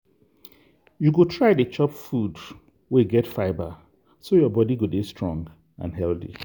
you go try dey chop food wey get fibre so your body go dey strong and healthy.